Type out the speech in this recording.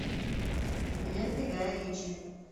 лента гая ричи